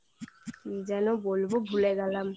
কি যেন বলবো ভুলে গেলাম